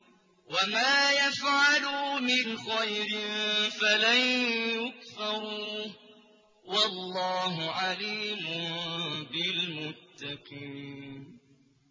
وَمَا يَفْعَلُوا مِنْ خَيْرٍ فَلَن يُكْفَرُوهُ ۗ وَاللَّهُ عَلِيمٌ بِالْمُتَّقِينَ